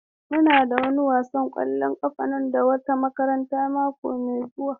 Muna da wani wasan ƙwallon ƙafa da wata makaranta mako mai zuwa.